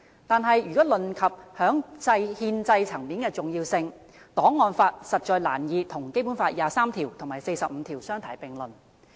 但是，如果論及憲制層面的重要性，檔案法實在難以跟《基本法》第二十三條和第四十五條相提並論。